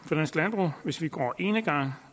for dansk hvis vi går enegang